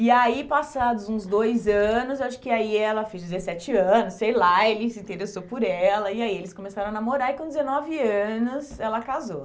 E aí, passados uns dois anos, eu acho que aí ela fez dezessete anos, sei lá, ele se interessou por ela, e aí eles começaram a namorar e com dezenove anos ela casou.